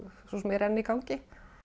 svo sem enn í gangi